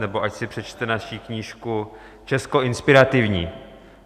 nebo ať si přečte naši knížku Česko inspirativní.